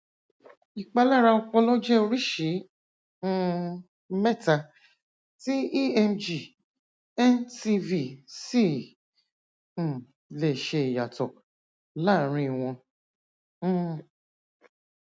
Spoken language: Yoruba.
ìpalára ọpọlọ jẹ oríṣi um mẹta tí emg ncv sì um lè ṣe ìyàtọ láàárin wọn um